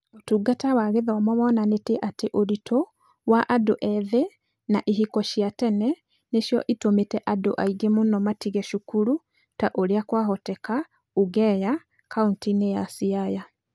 Ũtungata wa Gĩthomo wonanĩtie atĩ ũritũ wa andũ ethĩ na ihiko cia tene nĩcio itũmĩte andũ aingĩ mũno matige cukuru ta ũrĩa kwahoteka ũgenya, kaunti-inĩ ya Siaya.